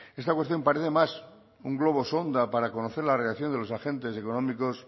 esta cuestión parece más un globo sonda para conocer la reacción de los agentes económicos